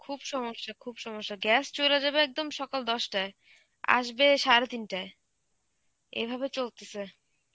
খুব সমস্যা, খুব সমস্যা. gas চইলা যাবে একদম সকাল দশটায়, আসবে সাড়ে তিনটায়, এভাবে চলতেছে.